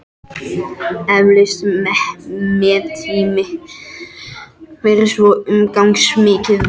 Eflaust mettími fyrir svo umfangsmikið verk.